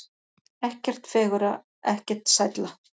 Ekkert fegurra, ekkert sælla.